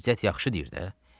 İzzət yaxşı deyir də.